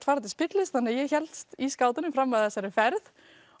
fara til spillis þannig ég hélst í skátunum fram að þessari ferð